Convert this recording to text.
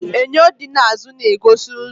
Enyo di n'azụ na-egosi ụzọ.